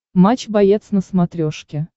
матч боец на смотрешке